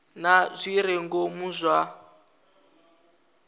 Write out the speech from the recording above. na zwi re ngomu zwa